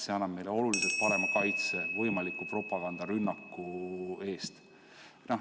See annab meile oluliselt parema kaitse võimaliku propagandarünnaku eest.